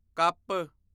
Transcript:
cup